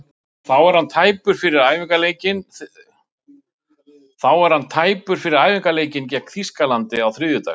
Þá er hann tæpur fyrir æfingaleikinn gegn Þýskalandi á þriðjudag.